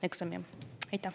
Aitäh!